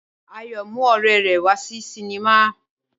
Ayọ̀ mú ọ̀rẹ́ rẹ̀ wá sí sinimá.